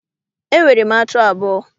Enwere m atụ abụọ.